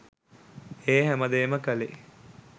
ඒ හැමදේම කළේ